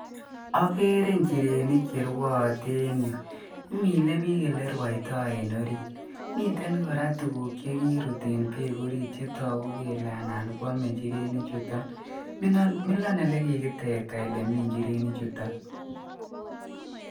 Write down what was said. Akere njirenik che rwoote en yu, imile biik ele rwoito en orit ,miten kora tuguk che kirut en beek orit chetoku kele anan kwome njireni chuton, milon ole kikitekta ole mi njireni chuton.